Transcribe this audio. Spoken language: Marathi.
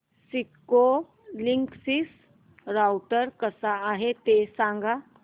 सिस्को लिंकसिस राउटर कसा आहे ते सांग